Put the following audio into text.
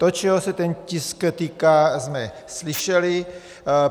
To, čeho se ten tisk týká, jsme slyšeli.